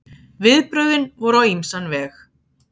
Viðbrögðin voru á ýmsan veg.